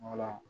Wala